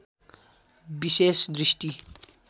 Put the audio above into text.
विशेष दृष्टि